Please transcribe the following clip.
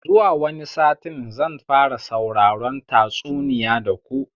Zuwa wani satin zan fara sauraron tatsuniya da ku